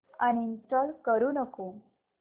uninstall करू नको